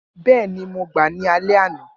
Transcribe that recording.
Bẹẹni, Mo gba ni alẹ ana